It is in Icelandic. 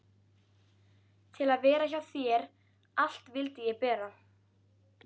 Til að vera hjá þér allt vildi ég bera.